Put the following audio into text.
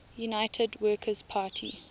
united workers party